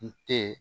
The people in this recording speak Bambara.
N te